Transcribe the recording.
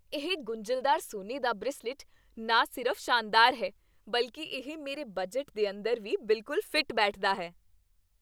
ਇਹ ਗੁੰਝਲਦਾਰ ਸੋਨੇ ਦਾ ਬਰੇਸਲੇਟ ਨਾ ਸਿਰਫ਼ ਸ਼ਾਨਦਾਰ ਹੈ, ਬਲਕਿ ਇਹ ਮੇਰੇ ਬਜਟ ਦੇ ਅੰਦਰ ਵੀ ਬਿਲਕੁਲ ਫਿੱਟ ਬੈਠਦਾ ਹੈ।